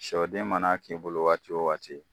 Sɔden mana k'i bolo waati o waati